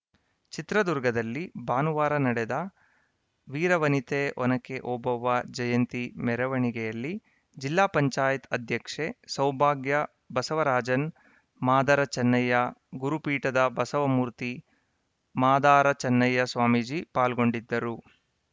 ಚಿತ್ರದುರ್ಗದಲ್ಲಿ ಭಾನುವಾರ ನಡೆದ ವೀರವನಿತೆ ಒನಕೆ ಓಬವ್ವ ಜಯಂತಿ ಮೆರವಣಿಗೆಯಲ್ಲಿ ಜಿಪಂ ಅಧ್ಯಕ್ಷೆ ಸೌಭಾಗ್ಯಬಸವರಾಜನ್‌ ಮಾದಾರ ಚೆನ್ನಯ್ಯ ಗುರುಪೀಠದ ಬಸವಮೂರ್ತಿ ಮಾದಾರಚೆನ್ನಯ್ಯ ಸ್ವಾಮೀಜಿ ಪಾಲ್ಗೊಂಡಿದ್ದರು